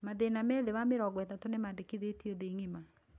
Mathĩna me thĩ wa mĩrongo ĩtatũ nĩmandĩkithĩtio thĩ ng'ima